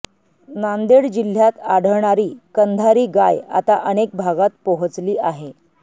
नांदेड जिल्ह्यात आढळणारी कंधारी गाय आता अनेक भागात पोहचली आहे